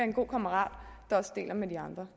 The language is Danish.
en god kammerat der også deler med de andre